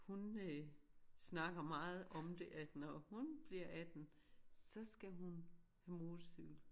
Hun øh snakker meget om det at når hun bliver 18 så skal hun på motorcykel